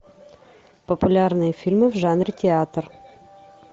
популярные фильмы в жанре театр